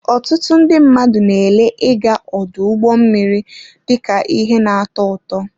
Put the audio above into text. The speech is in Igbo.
Ọtụtụ ndị mmadụ na-ele ịga ọdụ ụgbọ mmiri dị ka ihe na-atọ ụtọ.